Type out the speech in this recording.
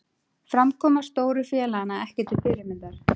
Framkoma stóru félaganna ekki til fyrirmyndar